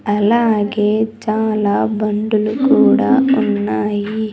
అలాగే చాలా బండులు కూడా ఉన్నాయి.